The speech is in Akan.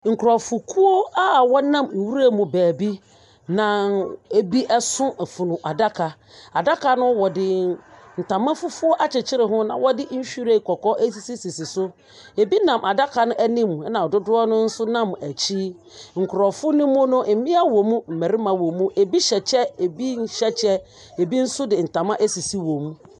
Nkrɔfokuo a wɔnam nwura mu wɔ baabi. Na ebi so funu daka. Adaka no, ntama fufuo akyekyere ho na wɔde ren asisisisi so na ebi nam adaka no anim na dodɔ nso nam akyi. Nkrɔfo no mu no, mmea wɔ mu na mmarima wɔ mu. Ebi hyɛ kyɛ, ebi nhyɛ kyɛ. Ebi nso de ntama asisi wɔn mu.